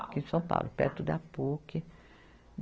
Aqui em São Paulo, perto da Puc.